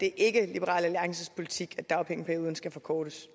liberal alliances politik er dagpengeperioden skal forkortes